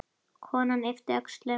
Konan yppti öxlum.